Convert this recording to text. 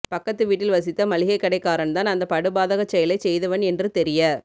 பக்கத்து வீட்டில் வசித்த மளிகைக்கடைக்காரன்தான் அந்த படுபாதகச் செயலைச் செய்தவன் என்று தெரிய